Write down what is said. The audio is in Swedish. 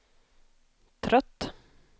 trött